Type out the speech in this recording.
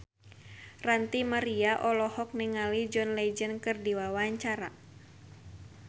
Ranty Maria olohok ningali John Legend keur diwawancara